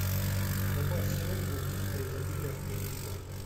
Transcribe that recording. добавь семгу бухта изобилия в корзину